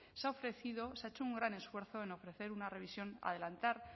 se ha ofrecido se ha hecho un gran esfuerzo en ofrecer una revisión adelantar